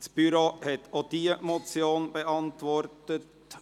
Das Büro hat auch diese Motion beantwortet.